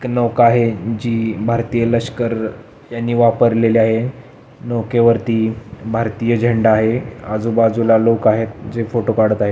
एक नोक आहे जी भारतीय लश्कर यांनी वापरलेली आहे नोके वरती भारतीय झंडा आहे आझु बाजूला लोक आहेत जे फोटो काडत आहे.